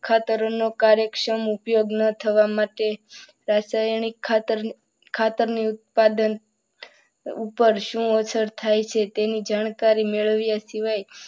ખાતરોનો કાર્યક્ષમ ઉપયોગ ન થવા માટે રાસાયણિક ખાતર, ખાતર ની ઉત્પાદન ઉપર શું અસર થાય છે તેની જાણકારી મેળવીએ.